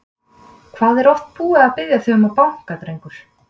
Hvað er ég oft búinn að biðja þig um að banka, drengur?